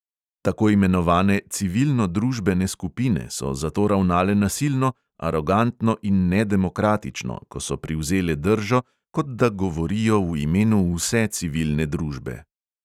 Tako imenovane civilno-družbene skupine so zato ravnale nasilno, arogantno in nedemokratično, ko so privzele držo, kot da govorijo v imenu vse civilne družbe.